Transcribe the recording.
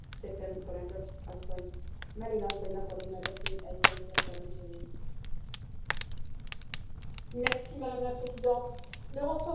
Madame la Présidente, le renforcement et la modernisation de l'accord d'association Union européenne Chili relève de l'évolution normale de toute relation bilatérale.